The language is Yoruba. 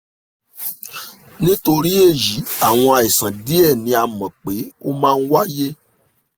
nítorí èyí àwọn àìsàn díẹ̀ ni a mọ̀ pé ó máa ń wáyé